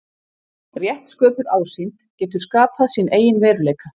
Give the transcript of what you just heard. Rétt sköpuð ásýnd getur skapað sinn eigin veruleika.